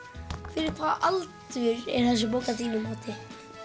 fyrir hvað aldur er þessi bók að þínu mati